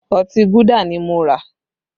Ọtí Gúdà ni mo rà